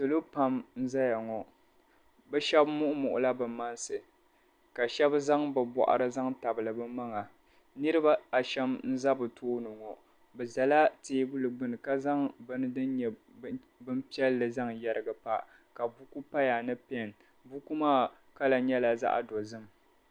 Salo pam n-zaya ŋo bɛ shɛb' muɣu muɣula bɛ maŋsi ka shɛb' zaŋ bɛ bɔɣiri zan tabili bɛ maŋa niriba ashɛm n-za bɛ tooni ŋo bɛ zala teebuli gbuni ka zaŋ bini din nyɛ bimpiɛlli n-zaŋ yɛrigi pa ka buku paya ni pɛn buku maa kala nyɛla zaɣ'dozim.